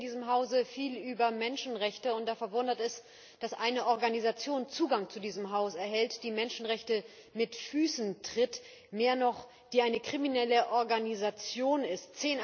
Wir reden hier in diesem Hause viel über Menschenrechte, und da verwundert es, dass eine Organisation Zugang zu diesem Haus erhält, die Menschenrechte mit Füßen tritt, mehr noch die eine kriminelle Organisation ist.